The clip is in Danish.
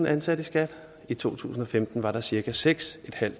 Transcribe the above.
ansatte i skat i to tusind og femten var der cirka seks